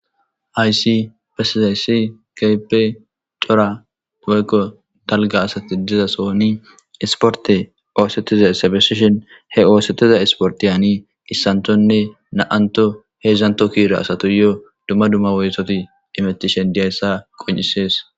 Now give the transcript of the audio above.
Haysi bessizayssi kape cora weykko dalga asati diza sooni isporte oosetiza essabesishen he oosetiza isporti hani issanthonne na7anto heedzdzanto kiira asato yoo dumma dumma woysoti imetishen diyayssa qon7isees